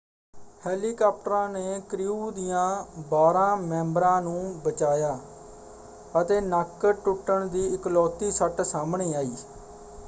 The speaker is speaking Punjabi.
ਹੈਲੀਕਾਪਟਰਾਂ ਨੇ ਕ੍ਰਿਊ ਦਿਆਂ ਬਾਰ੍ਹਾਂ ਮੈਂਬਰਾਂ ਨੂੰ ਬਚਾਇਆ ਅਤੇ ਨੱਕ ਟੁੱਟਣ ਦੀ ਇਕਲੌਤੀ ਸੱਟ ਸਾਹਮਣੇ ਆਈ।